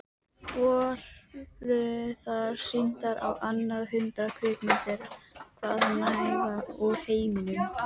Voru þar sýndar á annað hundrað kvikmyndir hvaðanæva úr heiminum.